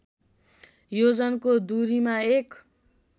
योजनको दूरीमा एक